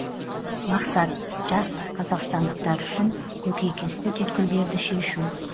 мақсат жас қазақстандықтар үшін көкейкесті түйткілдерді шешу